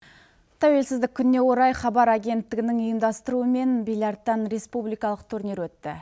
тәуелсіздік күніне орай хабар агентігінің ұйымдастыруымен бильярдтан республиқалық турнир өтті